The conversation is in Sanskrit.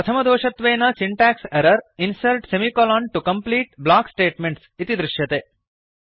प्रथमदोषत्वेन syntax error insert semi colon to complete block statements इति दृश्यते